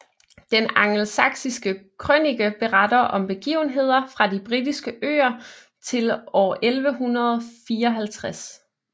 Den Angelsaksiske Krønike beretter om begivenheder fra de Britiske Øer til år 1154